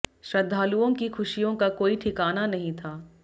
श्रद्धालुओं की खुशियों का कोई ठिकाना नहीं था